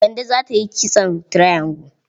Kande za ta yi kitson triangle.